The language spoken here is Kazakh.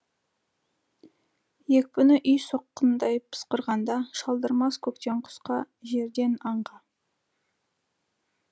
екпіні үй соққындай пысқырғанда шалдырмас көктен құсқа жерден аңға